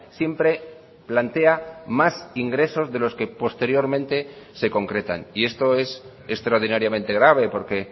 siempre plantea más ingresos de los que posteriormente se concretan y esto es extraordinariamente grave porque